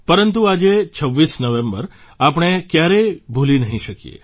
પરંતુ આજે ૨૬ નવેમ્બર આપણે ક્યારેય ભૂલી નહીં શકીએ